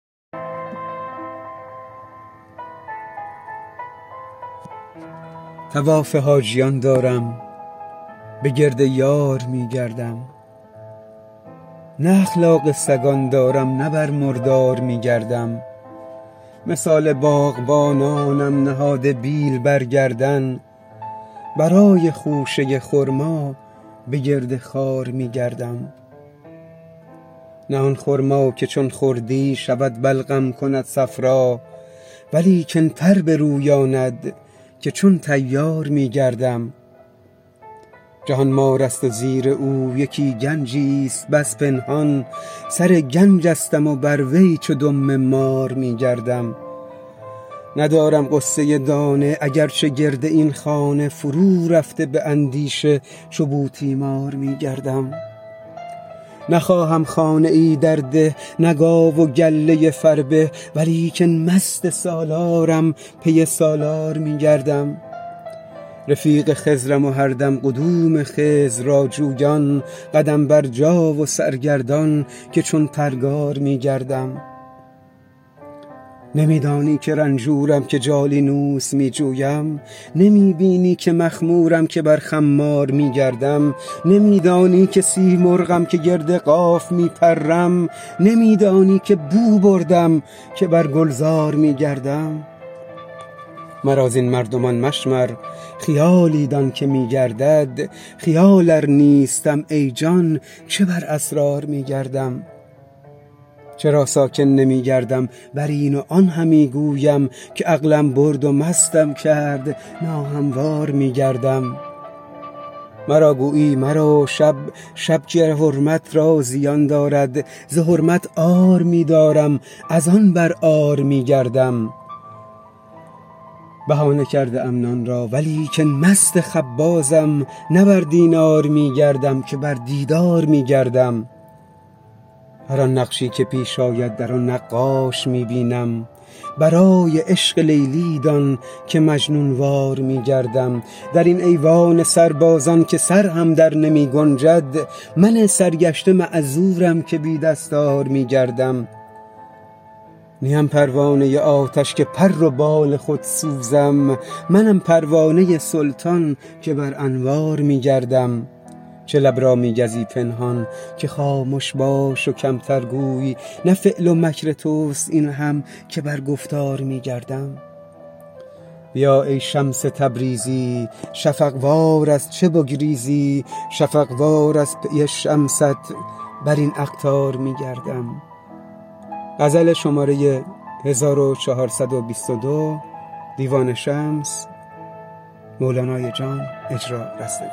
طواف حاجیان دارم به گرد یار می گردم نه اخلاق سگان دارم نه بر مردار می گردم مثال باغبانانم نهاده بیل بر گردن برای خوشه خرما به گرد خار می گردم نه آن خرما که چون خوردی شود بلغم کند صفرا ولیکن پر برویاند که چون طیار می گردم جهان مارست و زیر او یکی گنجی است بس پنهان سر گنجستم و بر وی چو دم مار می گردم ندارم غصه دانه اگر چه گرد این خانه فرورفته به اندیشه چو بوتیمار می گردم نخواهم خانه ای در ده نه گاو و گله فربه ولیکن مست سالارم پی سالار می گردم رفیق خضرم و هر دم قدوم خضر را جویان قدم برجا و سرگردان که چون پرگار می گردم نمی دانی که رنجورم که جالینوس می جویم نمی بینی که مخمورم که بر خمار می گردم نمی دانی که سیمرغم که گرد قاف می پرم نمی دانی که بو بردم که بر گلزار می گردم مرا زین مردمان مشمر خیالی دان که می گردد خیال ار نیستم ای جان چه بر اسرار می گردم چرا ساکن نمی گردم بر این و آن همی گویم که عقلم برد و مستم کرد ناهموار می گردم مرا گویی مرو شپشپ که حرمت را زیان دارد ز حرمت عار می دارم از آن بر عار می گردم بهانه کرده ام نان را ولیکن مست خبازم نه بر دینار می گردم که بر دیدار می گردم هر آن نقشی که پیش آید در او نقاش می بینم برای عشق لیلی دان که مجنون وار می گردم در این ایوان سربازان که سر هم درنمی گنجد من سرگشته معذورم که بی دستار می گردم نیم پروانه آتش که پر و بال خود سوزم منم پروانه سلطان که بر انوار می گردم چه لب را می گزی پنهان که خامش باش و کمتر گوی نه فعل و مکر توست این هم که بر گفتار می گردم بیا ای شمس تبریزی شفق وار ارچه بگریزی شفق وار از پی شمست بر این اقطار می گردم